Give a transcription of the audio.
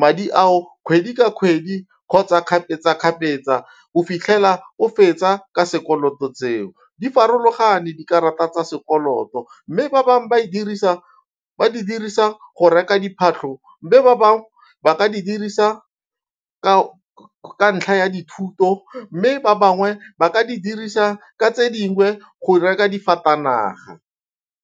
madi ao kgwedi ka kgwedi kgotsa kgapetsa-kgapetsa go fitlhela o fetsa ka sekoloto tseo. Di farologane dikarata tsa sekoloto mme ba bangwe ba di dirisa go reka diphatlho mme ba bangwe ba ka di dirisa ka ntlha ya dithuto mme ba bangwe ba ka di dirisa ka tse dingwe go reka difatanaga.